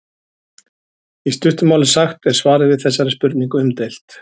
í stuttu máli sagt er svarið við þessari spurningu umdeilt